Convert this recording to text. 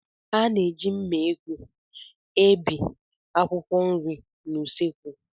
A na-eji mma ekwu ebi akwụkwọ nri n'ụsọekwu